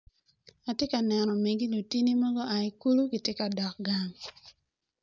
Atye ka neno megi lutini mogo gua ki kulu gitye ka dok gang.